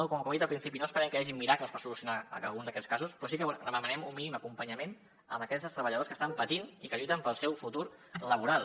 com he dit al principi no esperem que hi hagin miracles per solucionar algun d’aquests casos però sí que demanem un mínim acompanyament a aquest treballadors que estan patint i que lluiten pel seu futur laboral